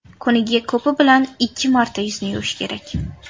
Kuniga ko‘pi bilan ikki marta yuzni yuvish kerak.